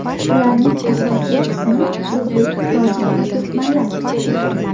Ularning asosiy qismi o‘zbek, tojik va turkmanlar.